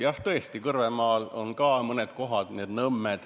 Jah, tõesti, Kõrvemaal on ka mõned kohad, niisugused nõmmed.